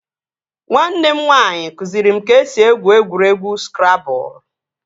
Nwanne m nwaanyị kụziri m ka e si egwu egwuregwu skrabụl